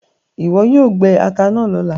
iwọ yoo gbé atá náa lọla!